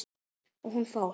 Og hún fór.